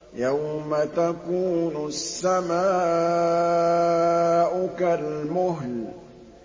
يَوْمَ تَكُونُ السَّمَاءُ كَالْمُهْلِ